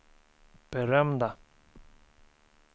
berömda